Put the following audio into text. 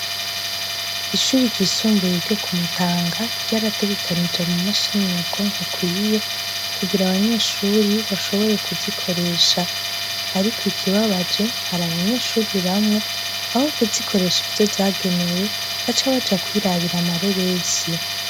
Ishure ryisumbuye ryo kumutanga ryarategekanije amamashini nyabwonko akwiye kugira abanyeshure bashobore kuzikoresha, ariko ikibabaje hari abanyeshure bamwe aho kuzikoresha ivyo zagenewe baca baja kwirabira amareresi.